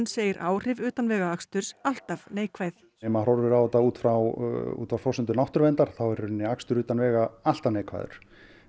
segir áhrif utanvegaaksturs alltaf neikvæð ef maður horfir á þetta út frá út frá forsendum náttúruverndar þá er akstur utan vega alltaf neikvæður